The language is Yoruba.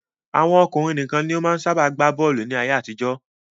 Àwọn ọkùnrin nìkan ló máa ń sábà gbá bọ́ọ̀lù ní ayé-àtijọ́.